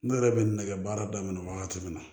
Ne yɛrɛ bɛ nɛgɛ baara daminɛ wagati min na